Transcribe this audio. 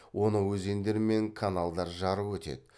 оны өзендер мен каналдар жарып өтеді